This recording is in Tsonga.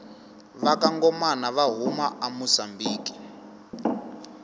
vakangomana vahhuma amusambiki